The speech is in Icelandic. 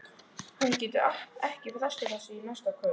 Hún getur ekki frestað þessu til næsta kvölds.